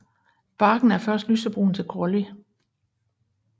Barken er først lysebrun til grålig